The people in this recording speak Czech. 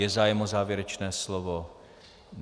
Je zájem o závěrečné slovo?